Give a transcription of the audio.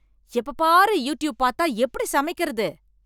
எப்பப் பாரு யூடியூப் பாத்தா எப்படி சமைக்கிறது